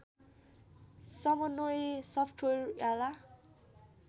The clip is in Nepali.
समन्वय सफ्टवेयर याला